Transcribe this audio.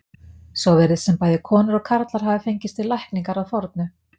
Svo virðist sem bæði konur og karlar hafi fengist við lækningar að fornu.